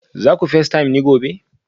za ku facetime ni gobe